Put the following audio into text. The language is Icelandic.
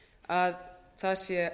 að það sé